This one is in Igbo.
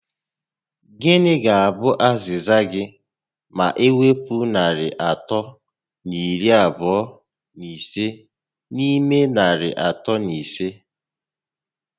Gịnị ga abụ aziza gị ma ewpu narị atọ na iri abụọ na ise n'ime narị atọ na ise?